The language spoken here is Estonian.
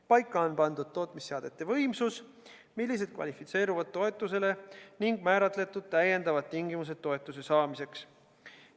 Paika on pandud tootmisseadmete võimsus, mis kvalifitseerub toetusele, ning lisatingimused toetuse saamiseks.